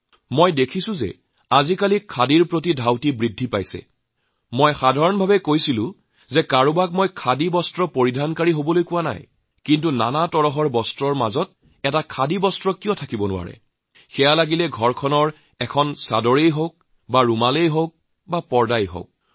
মই লক্ষ্য কৰিছোঁ যে শেহতীয়াভাৱে খাদীৰ প্ৰতি মানুহৰ আকৰ্ষণ বাঢ়িছে আৰু মই এইটো কোৱা নাই যে কোনোবাই কেৱল খাদী পৰিধান কৰক কিন্তু নানাধৰণৰ ফেব্ৰিকৰ ঠাই এজোৰ খাদী কাপোৰ পিন্ধিব পৰা নাযায় নে ঘৰৰ চাদৰ হব পাৰে ৰুমাল হব পাৰে পৰ্দা হব পাৰে